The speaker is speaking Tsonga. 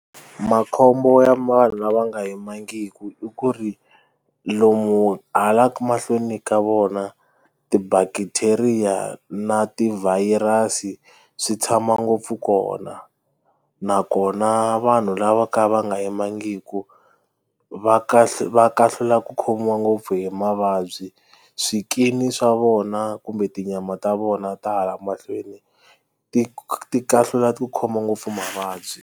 Makhombo ya lava nga yimbangiki i ku ri lomu hala mahlweni ka vona ti-bacteria na ti-virus swi tshama ngopfu kona nakona vanhu lava ka va nga yimbangiki va va kahlula ku khomiwa ngopfu hi mavabyi swikini swa vona kumbe tinyama ta vona ta hala mahlweni ti ti kahlula ku khoma ngopfu mavabyi.